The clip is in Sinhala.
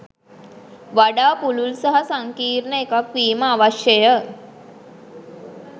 වඩා පුළුල් සහ සංකීර්ණ එකක් වීම අවශ්‍යය.